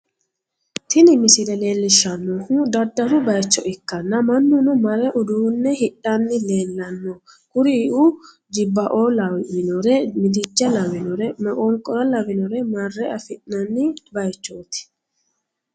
Tini misile leellishshannohu daddalu bayiicho ikkanna, mannuno mare uduunne hidhanni leellanno, kuriu jibbao lawinore midijja lawinore maqonqora lawinore marre afi'nanni bayichooti.